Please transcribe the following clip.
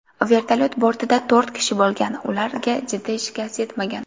Vertolyot bortida to‘rt kishi bo‘lgan, ularga jiddiy shikast yetmagan.